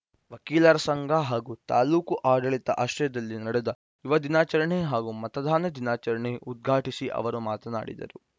ವಕೀಲರ ಸಂಘ ಹಾಗೂ ತಾಲೂಕು ಆಡಳಿತದ ಆಶ್ರಯದಲ್ಲಿ ನಡೆದ ಯುವ ದಿನಾಚರಣೆ ಹಾಗೂ ಮತದಾನ ದಿನಾಚರಣೆ ಉದ್ಘಾಟಿಸಿ ಅವರು ಮಾತನಾಡಿದರು